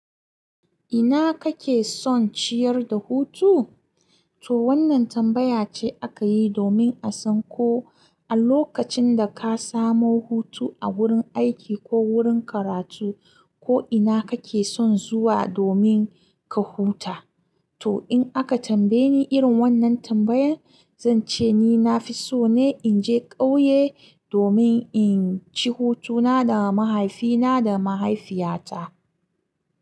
Ina kake son ciyar da hutu? To wannan tambaya ce aka yi domin a san ko a lokacin da ka samu hutu a wurin aiki ko wurin karatu, ko ina kake son zuwa domin ka huta. To in aka tambaye ni irin wannan tambayan, zan ce ni na fi so ne in je ƙauye domin in ci hutuna da mahaifina da mahaifiyata.